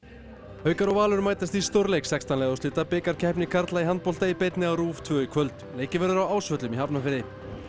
haukar og Valur mætast í stórleik sextán liða úrslita bikarkeppni karla í handbolta í beinni á RÚV tvö í kvöld leikið verður á Ásvöllum í Hafnarfirði